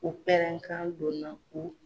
U pɛrɛn kan don na u